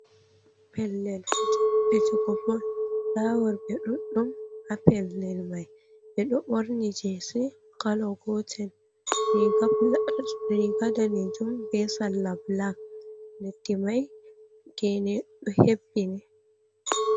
Pellel fijugo bol, nda worɓe ɗudɗum ha pellel mai, ɓe ɗo ɓorni jesi kala gotel, riga riga danejum be sarla bilak, leddi mai gene ɗo hebbini.